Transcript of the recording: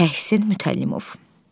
Təhsin Mütəllimov.